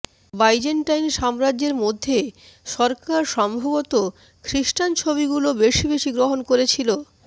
Byzantine সাম্রাজ্যের মধ্যে সরকার সম্ভবত খ্রিস্টান ছবিগুলো বেশি বেশি গ্রহণ করছিল